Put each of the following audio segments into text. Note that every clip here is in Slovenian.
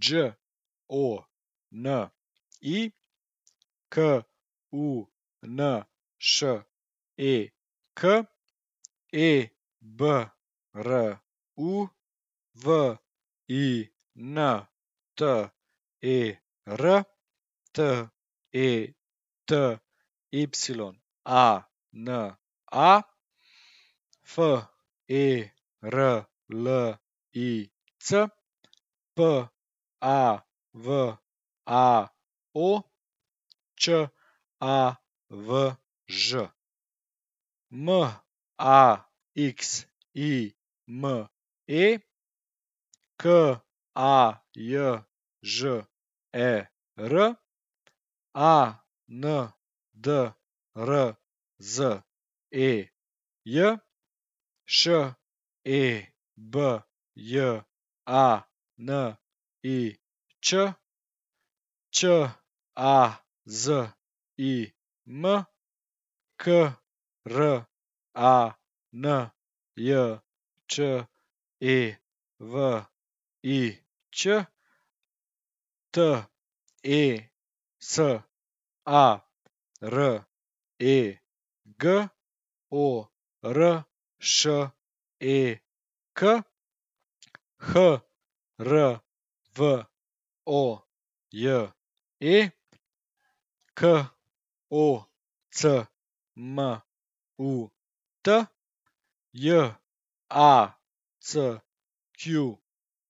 Đ O N I, K U N Š E K; E B R U, W I N T E R; T E T Y A N A, F E R L I C; P A V A O, Č A V Ž; M A X I M E, K A J Ž E R; A N D R Z E J, Š E B J A N I Č; Č A Z I M, K R A N J Č E V I Ć; T E S A, R E G O R Š E K; H R V O J E, K O C M U T; J A C Q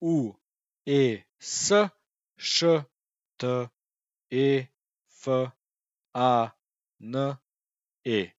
U E S, Š T E F A N E.